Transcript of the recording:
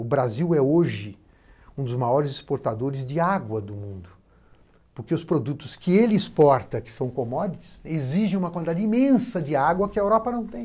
O Brasil é hoje um dos maiores exportadores de água do mundo, porque os produtos que ele exporta, que são commodities, exigem uma quantidade imensa de água que a Europa não tem.